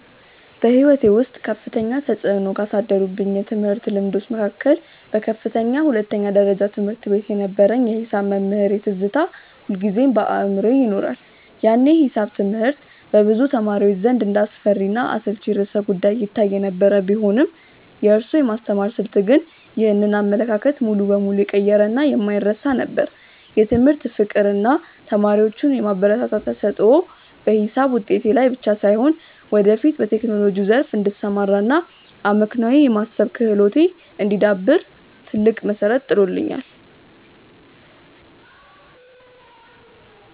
በሕይወቴ ውስጥ ከፍተኛ ተፅዕኖ ካሳደሩብኝ የትምህርት ልምዶች መካከል በከፍተኛ ሁለተኛ ደረጃ ትምህርት ቤት የነበረኝ የሒሳብ መምህሬ ትዝታ ሁልጊዜም በአእምሮዬ ይኖራል። ያኔ ሒሳብ ትምህርት በብዙ ተማሪዎች ዘንድ እንደ አስፈሪና አሰልቺ ርዕሰ-ጉዳይ ይታይ የነበረ ቢሆንም፣ የእሱ የማስተማር ስልት ግን ይህንን አመለካከት ሙሉ በሙሉ የቀየረና የማይረሳ ነበር። የትምህርት ፍቅር እና ተማሪዎቹን የማበረታታት ተሰጥኦ በሒሳብ ውጤቴ ላይ ብቻ ሳይሆን፣ ወደፊት በቴክኖሎጂው ዘርፍ እንድሰማራ እና አመክንዮአዊ የማሰብ ክህሎቴ እንዲዳብር ትልቅ መሠረት ጥሎልኛል።